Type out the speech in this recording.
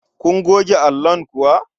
Kun goge allon nan kuwa?